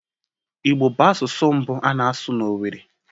Igbo bụ asụsụ mbụ a na-asụ na Owerri